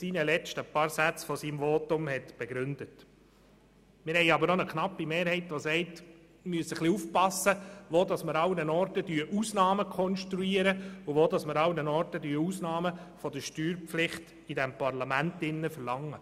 Wir haben aber auch eine knappe Mehrheit, die sagt, wir müssen aufpassen, an welchen Orten wir Ausnahmen konstruieren und wo wir in unserem Parlament Ausnahmen von der Steuerpflicht verlangen.